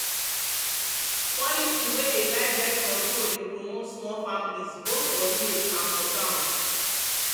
policy wey um guide birth control dey um promote small families both for village and for town.